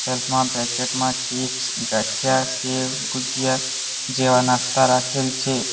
Self માં packet માં chips gathiya sev gujiya જેવા નાસ્તા રાખેલ છે.